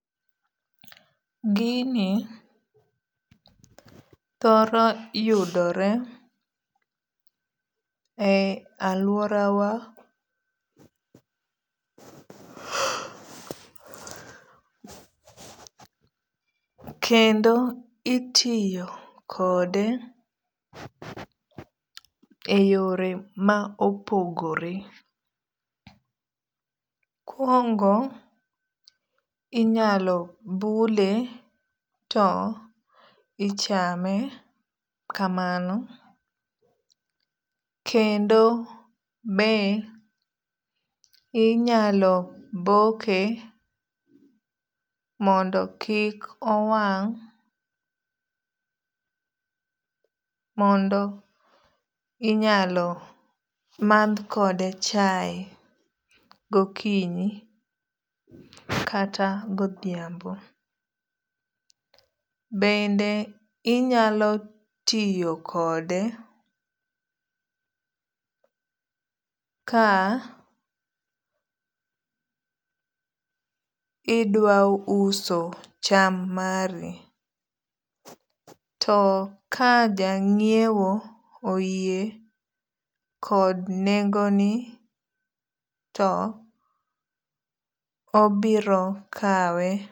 Gini thoro yudore e aluora wa kendo itiyo kode e yore ma opogore. Mokuongo inyalo bule to ichame kamano kendo be inyalo boke mondo kik owang' mondo inyalo madh kode chae gokinyi kata godhiambo. Bende inyalo tiyo kode ka idwa uso cham mari. To ka jang'iewo oyie kod nengo ni to obiro kawe.